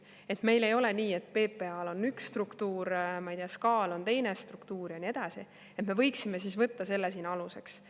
Et meil ei ole nii, et PPA-l on üks struktuur, SKA-l on teine struktuur ja nii edasi, et me võiksime võtta selle siin aluseks.